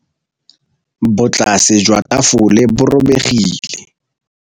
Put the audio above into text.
Botlasê jwa tafole bo robegile.